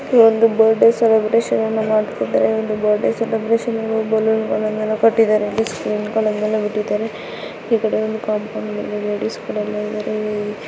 ಇಲ್ಲಿ ಒಂದು birthday celebration ಅನ್ನು ಮಾಡ್ತಾಯಿದಾರೆ ಬರ್ ಡೇ ಸೆಲೆಬ್ರೆಷನ್ಗೆ ಬಲೂನ್ ಕಟ್ಟಿದರೆ ಸ್ಕ್ರಿನ್ ಗಳನ್ನೆಲ್ಲ ಬಿತ್ತಿದರೆ ಈ ಕಡೆ ಕಾಂಪೋಂಡ್ ಮೇಲೆ ಲೇಡೀಸ್ಗಳೆಲ್ಲ ಇದ್ದಾರೆ.